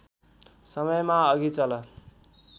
समयमा अघि चल